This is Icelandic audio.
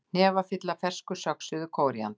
Hnefafylli af fersku söxuðu kóríander